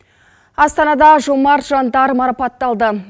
астанада жомарт жандар марапатталды